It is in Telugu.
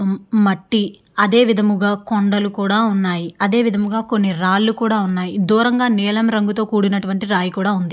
మ మ మట్టి అదే విధముగా కొండలు కూడా ఉన్నాయి. అదే విధముగా కొన్ని రాళ్ళు కూడా ఉన్నాయి. దూరంగా నీలం రంగుతో కూడినటువంటి రాయి కూడా ఉంది.